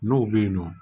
N'o bɛ yen nɔ